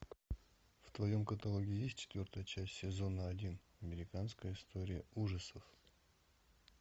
в твоем каталоге есть четвертая часть сезона один американская история ужасов